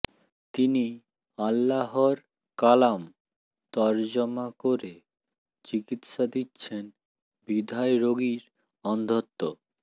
তিনি আল্লাহর কালাম তরজমা করে চিকিৎসা দিচ্ছেন বিধায় রোগীর অন্ধত্ব